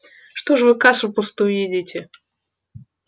что ж вы кашу пустую едите